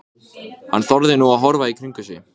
Þennan mann verður að brjóta niður.